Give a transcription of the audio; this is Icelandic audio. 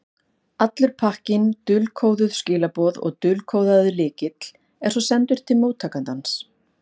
Allur pakkinn, dulkóðuð skilaboð og dulkóðaður lykill, er svo sendur til móttakandans.